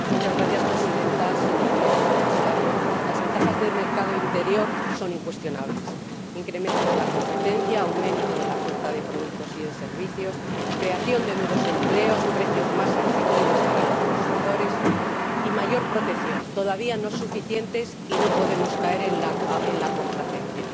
Señora Presidenta, Señorías, señor Comisario, las ventajas del mercado único son incuestionables incremento de la competencia, aumento de la oferta de productos y de servicios, creación de nuevos empleos, precios más asequibles para los consumidores y mayor protección, pero todavía no suficientes y no podemos caer en la complacencia.